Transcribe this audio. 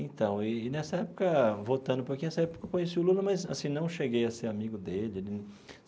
Então e nessa época, voltando um pouquinho, nessa época eu conheci o Lula, mas assim não cheguei a ser amigo dele.